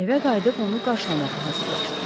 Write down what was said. Evə qayıdıb onu qaşlamağa hazırlaşdım.